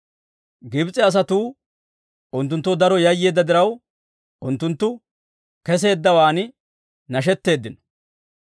Gibs'e asatuu unttunttoo daro yayyeedda diraw, unttunttu keseeddawaan nashetteeddino.